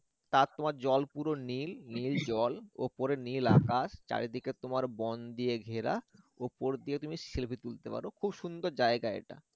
তার তোমার জল পুর নীল নীল জল উপরে নীল আকাশ চারিদিকে তোমার বন দিয়ে ঘেরা উপর দিয়ে তুমি selfie তুলতে পারো খুব সুন্দর জায়গা এটা